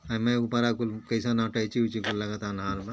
हेमे ऊपरा कुल कइसन अटैची उची लगता अन्हार बा।